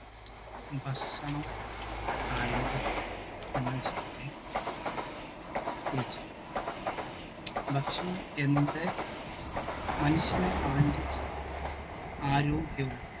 ഭക്ഷണം ആരോഗ്യത്തിനു എന്ന വിഷയത്തെ കുറിച്ചാണ്. ഭക്ഷണം എന്തെ മനുഷ്യന് അവൻ്റെ ജീവനും ആരോഗ്യവും